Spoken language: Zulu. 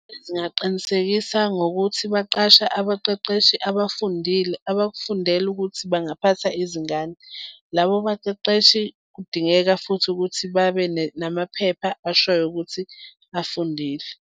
Zingaqinisekisa ngokuthi baqashe abaqeqeshi abafundile abakufundele ukuthi bangaphatha izingane. Labo baqeqeshi kudingeka futhi ukuthi babe namaphepha ashoyo ukuthi bafundile.